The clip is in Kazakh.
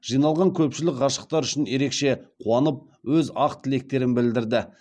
жиналған көпшілік ғашықтар үшін ерекше қуанып өз ақ тілектерін білдірді